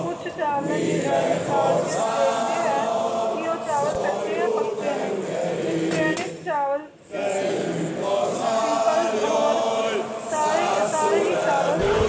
ਕੁਛ ਚਾਵਲਾਂ ਨੂੰ ਨਿਕਲ ਕ ਵੇਖਦੇ ਹੈ ਕ ਉਹ ਚਾਵਲ ਕੱਚੇ ਨੇ ਆ ਤੇ ਚਾਈਨੀਸ ਚਾਵਲ ਤੇ ਸਾਰੇ ਹੈ ਚਾਵਲ ਸੀਪਲ ਹੋਰ ਕੁਜ